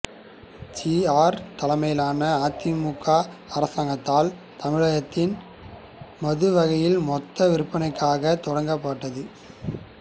G R தலைமையிலான அதிமுக அரசாங்கத்தால் தமிழகத்தில் மதுவகைகளின் மொத்த விற்பனைக்காக தொடங்கப்பட்டது